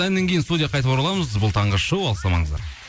әннен кейін студияға қайта ораламыз бұл таңғы шоу алыстамаңыздар